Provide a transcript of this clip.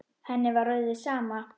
Henni var orðið sama.